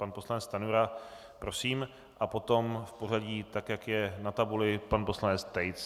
Pan poslanec Stanjura prosím a potom v pořadí tak, jak je na tabuli, pan poslanec Tejc.